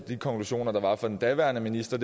de konklusioner der var fra den daværende minister